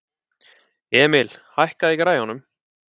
Emil, hækkaðu í græjunum.